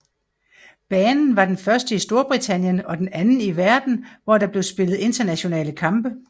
Banen var den første i Storbritannien og den anden i verden hvor der blev spillet internationale kampe